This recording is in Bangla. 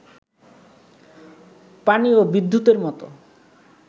পানি ও বিদ্যুতের মতো